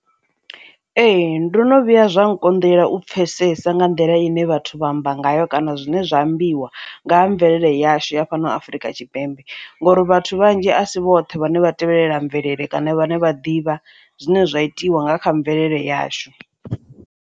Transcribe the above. Ee, ndo no vhuya zwa nkonḓela u pfhesesa nga nḓila ine vhathu vha amba ngayo kana zwine zwa ambiwa nga ha mvelele yashu ya fhano Afrika Tshipembe ngori vhathu vhanzhi asi vhoṱhe vhane vha tevhelelela mvelele kana vhane vha ḓivha zwine zwa itiwa nga kha mvelele yashu.